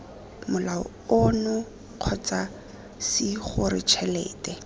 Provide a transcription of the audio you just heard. molao ono kgotsa cgore tšhelete